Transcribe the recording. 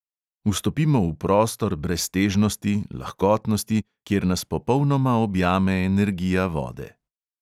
Vstopimo v prostor breztežnosti, lahkotnosti, kjer nas popolnoma objame energija vode.